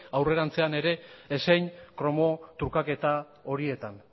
aurrerantzean ere ezein kromo trukaketa horietan